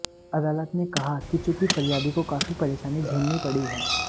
अदालत ने कहा कि चूंकि फरियादी को काफी परेशानी झेलनी पड़ी है